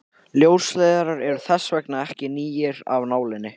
ljósleiðarar eru þess vegna ekki nýir af nálinni